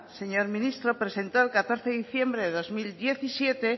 señor ministro presentó el catorce de diciembre de dos mil diecisiete